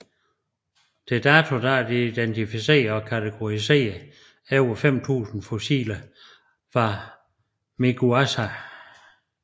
Til dato er der identificeret og kategoriseret over 5000 fossiler fra Miguasha